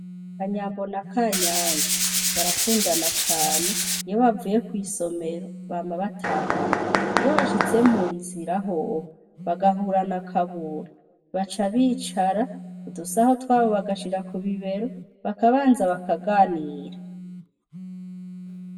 Kanyambo na Kanyange barakundana cane iyo bavuye kw'isomero bama batahana, iyo bashitse munzira hoho bagahura na Kabura baca bicara udusaho twabo bagashira kubibero bakabanza bakaganira.